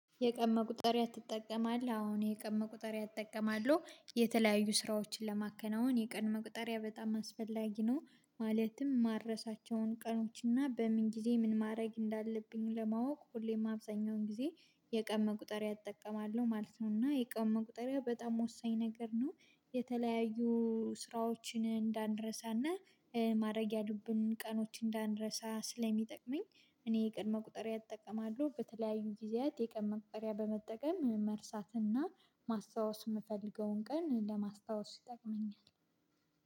የቀን መቁጠሪያ ትጠቀማለህ አሁን የቀን መቁጠሪያ እጠቀማለሁ የተለያዩ ስራዎችን ለማከናወን የቀን መቁጠሪያ በጣም አስፈላጊ ነው ማለትም ማረሳቸውን ቀኖች እና በምን ጊዜ ምን ማድረግ እንዳለብኝ ለማወቅ ሁሌም አብዛኛውን ጊዜ የቀን መቁጠሪያ ትጠቀማለህ? አወ የቀን መቁጠሪያ እጠቀማለሁ የተለያዩ ስራዎችን ለማከናወን የቀን መቁጠሪያ በጣም አስፈላጊ ነው ማለትም ማረሳቸውን ቀኖች እና በምን ጊዜ ምን ማድረግ እንዳለብኝ ለማወቅ ሁሌም አብዛኛውን ጊዜ የቀን መቁጠሪያ እጠቀማለሁ ማለት ነው እና የቀን መቁጠሪያ በጣም ወሳኝ ነገር ነው። የተለያዩ ስራዎችን እንዳንረሳና የቀን መቁጠሪያ እጠቀማለሁ ማለት ነው። እና የቀን መቁጠሪያ በጣም ወሳኝ ነገር ነው የተለያዩ ስራዎችን እንዳንረሳና